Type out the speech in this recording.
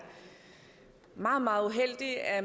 meget meget uheldigt at